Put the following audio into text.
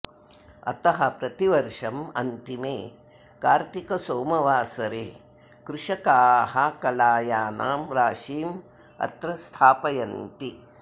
अतः प्रतिवर्षम् अन्तिमे कार्तीकसोमवासरे कृषकाः कलायानां राशिम् अत्र स्थापयन्ति